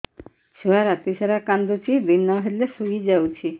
ଛୁଆ ରାତି ସାରା କାନ୍ଦୁଚି ଦିନ ହେଲେ ଶୁଇଯାଉଛି